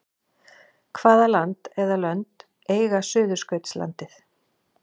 Hvaða land eða lönd eiga Suðurskautslandið?